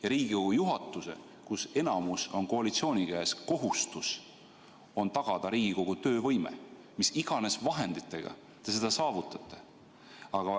Ja Riigikogu juhatuse, kus enamus on koalitsiooni käes, kohustus on tagada Riigikogu töövõime, mis iganes vahenditega te seda saavutate.